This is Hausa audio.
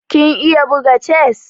Kin iya buga chess?